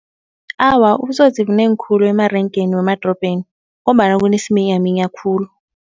Awa ubutsotsi bunengi khulu emarengeni wemadrobheni ngombana kunesiminyaminya khulu.